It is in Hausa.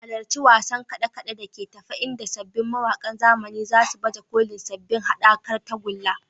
Halarci wasan kade-kade da ke tafe inda sabbin mawakan zamani za su baje kolin sabbin haɗakar tagulla.